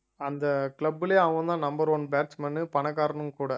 அந்த club லயே அவன்தான் number one batsman உ பணக்காரனும் கூட